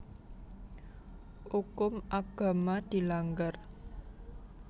Ukum agama dilanggar